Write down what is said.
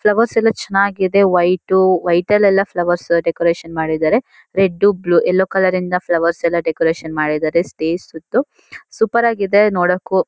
Flowers ಎಲ್ಲ ಚೆನ್ನಾಗಿದೆ white ವೈಟಲ್ ಎಲ್ಲ ಫ್ಲವರ್ಸ್ ಡೆಕೋರೇಷನ್ ಮಾಡಿದರೆ ರೆಡ್ಡು ಬ್ಲೂ-- ಎಲ್ಲೋ ಕಲರ್ ಇಂದ ಫ್ಲವರ್ಸ್ ಎಲ್ಲ ಡೆಕೋರೇಷನ್ ಮಾಡಿದರೆಸ್ಟೇಜ್ ಸುತ್ತು ಸೂಪರ್ ಆಗಿದೆ ನೋಡಕ್ಕೂ.